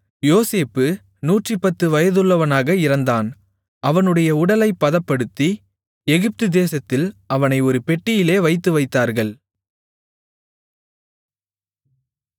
யோசேப்பு 110 வயதுள்ளவனாக இறந்தான் அவனுடைய உடலைப் பதப்படுத்தி எகிப்து தேசத்தில் அவனை ஒரு பெட்டியிலே வைத்துவைத்தார்கள்